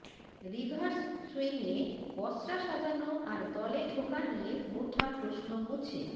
reverse সুইংয়ে পসরা সাজানো আর দলে ঢোকা নিয়ে ওঠা প্রশ্ন মুছে